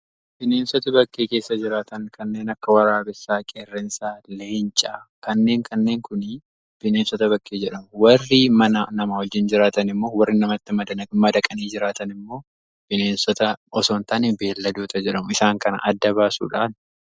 bineensonni bakkee keessa jiraatan kanneen akka waraabessaa qerreensaa, leencaa kanaa fi kanneen kana fakkaatan bineensota bakkee jedhamu. warri mana nama wajjiin jiraatan immoo bineensota osoo hin taane beelladoota jedhamu. isaan kan adda baasuun barbaachisaadha.